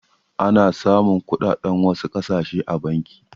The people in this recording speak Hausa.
Ana samun kuɗaɗen wasu ƙasashe a banki.